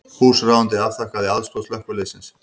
Húsráðandi afþakkaði aðstoð slökkviliðsins